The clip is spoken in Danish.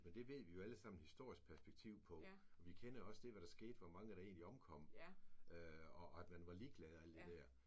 Men det ved vi jo alle sammen historisk perspektiv på og vi kender jo også det hvad der skete hvor mange der egentlig omkom og og at man var ligeglad og alt det der